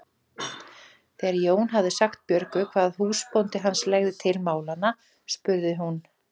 Þegar Jón hafði sagt Björgu hvað húsbóndi hans legði til málanna spurði hún